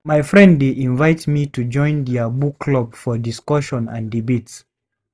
My friend dey invite me to join their book club for discussions and debates.